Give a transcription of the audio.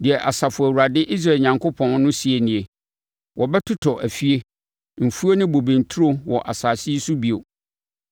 Deɛ Asafo Awurade, Israel Onyankopɔn, no seɛ nie: Wɔbɛtotɔ afie, mfuo ne bobe nturo wɔ asase yi so bio.’